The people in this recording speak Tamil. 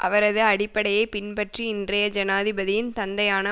அவரது அடிப்படையை பின்பற்றி இன்றைய ஜனாதிபதியின் தந்தையான